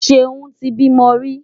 Ṣeún ti bímọ rí.